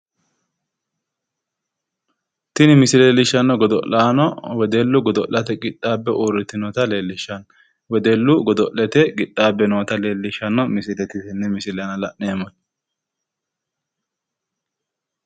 Tini misile leellishannohu wedellu godo'lete qixxaabbe uurritinota leellishanno